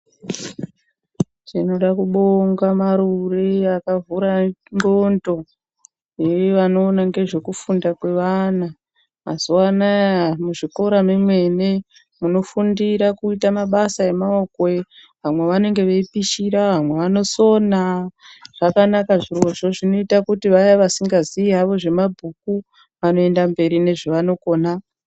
Tinoda kubonga marure akavhura ndxondo yevanoona ngezvekufunda kwevana. Mazuva anaya muzvikora mwemene munofundira kuita mabasa emaoko vamwe vanenge veipishira vamwe vanosona zvakanaka zviro zvoo zvinoita kuti vaya vasingi ziyi havo nezvemabhuku vanoenderera mberi nezvavanokona.